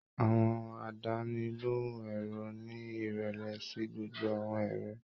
Àwọn àdánilohùn èrò ni ìrẹlẹ sí gbogbo àwọn èrò